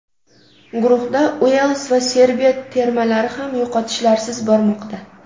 Guruhda Uels va Serbiya termalari ham yo‘qotishlarsiz bormoqda.